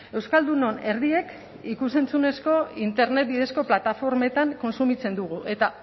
euskaldunon erdiek ikus entzunezko internet bidezko plataformetan kontsumitzen dugu eta